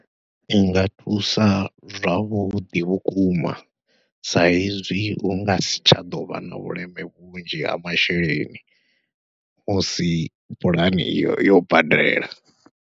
I nga thusa zwavhuḓi vhukuma sa hezwi hu nga si tsha ḓovha na vhuleme vhunzhi ha masheleni musi pulane iyo yo badela.